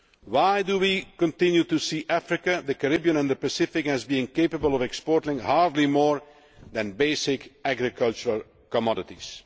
Why do we continue to see Africa, the Caribbean and the Pacific as not being capable of exporting much more than basic agricultural commodities?